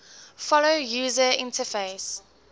follow user interface